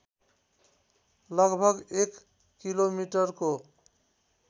लगभग एक किलोमिटको